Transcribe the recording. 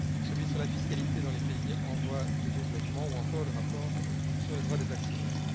celui sur la fiscalité dans les pays en voie de développement ou encore le rapport sur les droits des actionnaires.